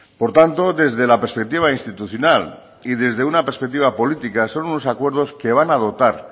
por tanto desde la perspectiva institucional y desde una perspectiva política son unos acuerdos que van a dotar